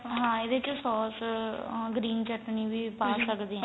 ਹਾਂ ਇਹਦੇ ਚ ਵੀ ਸੋਸ ਉਹ green ਚਟਣੀ ਵੀ ਪਾ ਸਕਦੇ ਆ